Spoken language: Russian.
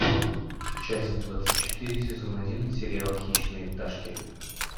часть двадцать четыре сезон один сериал хищные пташки